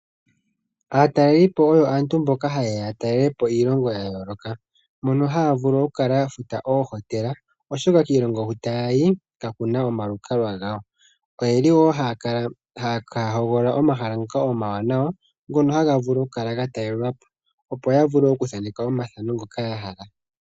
Aatalelipo oyo aantu mboka haye ya talele po iilongo ya yooloka. mono haya vulu okukala ya futa oohotela oshoka kiilongo hu taya yi kakuna omalukalwa gawo. Oyeli wo haya hogolola omahala ngoka omawanawa ngono taga vulu okukala gatalelwapo opo yavule okuthaneka omathano nhoka ya hala.